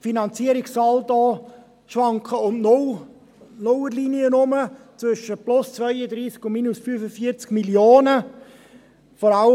Die Finanzierungssaldi schwanken um die Nullerlinie herum, zwischen plus 32 und plus 45 Mio. Franken.